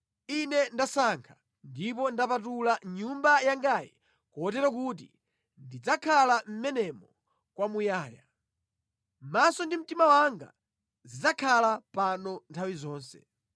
Ine ndasankha ndipo ndapatula Nyumba yangayi kotero kuti ndidzakhala mʼmenemo kwamuyaya. Maso ndi mtima wanga zidzakhala pano nthawi zonse.